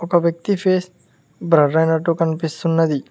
ఒక వ్యక్తి ఫేస్ బ్రర్ ఐనట్టు కనిపిస్తున్నది.